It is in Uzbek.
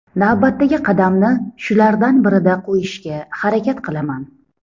Navbatdagi qadamni shulardan birida qo‘yishga harakat qilaman.